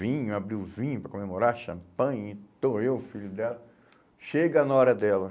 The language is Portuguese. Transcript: vinho, abriu vinho para comemorar, champanhe, então eu, filho dela, chega na hora dela.